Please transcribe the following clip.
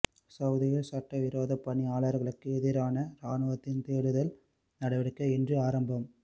சவுதியில் சட்டவிரோத பணியாளர்களுக்கு எதிரான இராணுவத்தின் தேடுதல் நடவடிக்கை இன்று ஆரம்பம்